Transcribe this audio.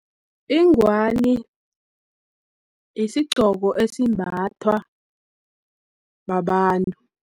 Ingwani, yisigqoko esimbathwa babantu.